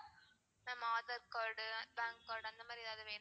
ma'am Aadhar card to pan card அந்தமாறி எதாவது வேணுமா?